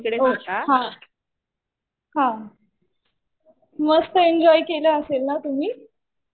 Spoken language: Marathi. हा. हा. मस्त एन्जॉय केलं असेल ना तुम्ही?